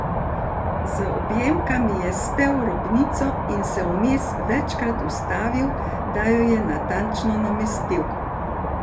Z objemkami je spel robnico in se vmes večkrat ustavil, da jo je natančno namestil.